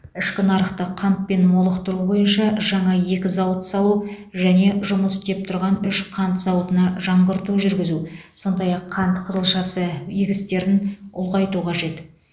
ішкі нарықты қантпен молықтыру бойынша жаңа екі зауыт салу және жұмыс істеп тұрған үш қант зауытына жаңғырту жүргізу сондай ақ қант қызылшасы егістерін ұлғайту қажет